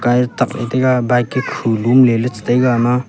tabley taiga bike e khumlum ley chitaiga ama.